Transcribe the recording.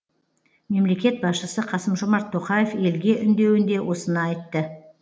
мемлекет басшысы қасым жомарт тоқаев елге үндеуінде осыны айтты